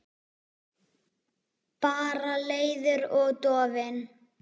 Bara leiður og dofinn.